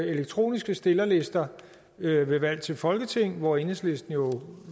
elektroniske stillerlister ved valg til folketing hvor enhedslisten jo